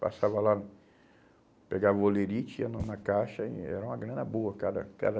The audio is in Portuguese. Passava lá, pegava o olerite, ia na na caixa e era uma grana boa. Cada cada